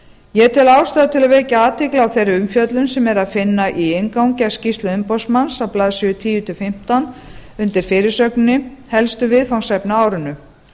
ég tel ástæðu til að vekja athygli á þeirri umfjöllun sem er að finna í inngangi að skýrslu umboðsmanns á blaðsíðu tíu til fimmtán undir fyrirsögninni helstu viðfangsefni á árinu